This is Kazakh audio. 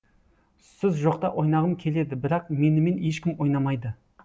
сіз жоқта ойнағым келеді бірақ менімен ешкім ойнамайды